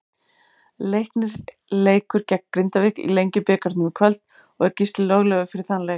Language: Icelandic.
Leiknir leikur gegn Grindavík í Lengjubikarnum í kvöld og er Gísli löglegur fyrir þann leik.